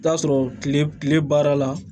Taa sɔrɔ tile baara la